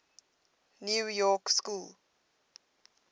new york school